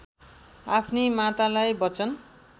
आफ्नी मातालाई बचन